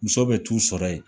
Muso bɛ t'u sɔrɔ yen.